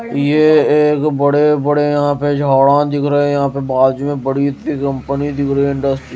ये एक बड़े बड़े यहां पे झाड़ा दिख रहे हैं यहां पे बाजु में बड़ी सी कंपनी दिख रही इंडस्ट्री --